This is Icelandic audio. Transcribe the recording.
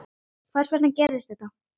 Hvers vegna gerist þetta?